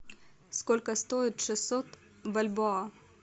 сколько стоит шестьсот бальбоа